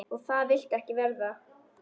Og það viltu ekki verða.